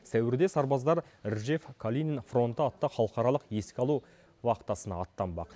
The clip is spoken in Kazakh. сәуірде сарбаздар ржев калинин фронты атты халықаралық еске алу вахтасына аттанбақ